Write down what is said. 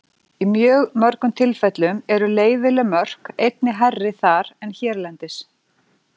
Í mjög mörgum tilfellum eru leyfileg mörk einnig hærri þar en hérlendis.